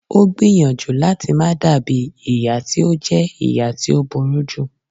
O gbìyànjú lati ma dabi iya ti o jẹ iya ti o buruju